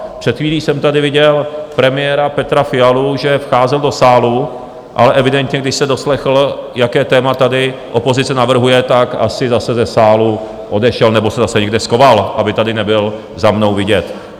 Před chvíli jsem tady viděl premiéra Petra Fialu, že vcházel do sálu, ale evidentně když se doslechl, jaké téma tady opozice navrhuje, tak asi zase ze sálu odešel, nebo se zase někde schoval, aby tady nebyl za mnou vidět.